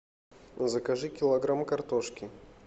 закажи килограмм картошки